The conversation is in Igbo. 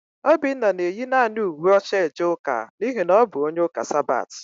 Obinna na-eyi naanị uwe ọcha eje ụka n'ihi na ọ bụ onye ụka Sabat.